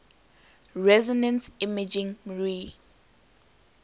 resonance imaging mri